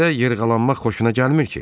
Belə yırğalanmaq xoşuna gəlmir ki?